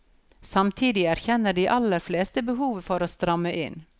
Samtidig erkjenner de aller fleste behovet for å stramme inn.